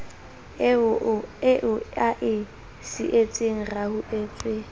eo a e sietseng rehauhetswe